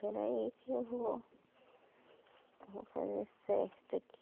espera aí que eu vou vou fazer certo aqui